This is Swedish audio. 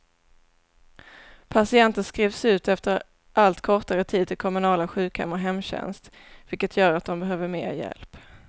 Patienter skrivs ut efter allt kortare tid till kommunala sjukhem och hemtjänst, vilket gör att de behöver mer hjälp.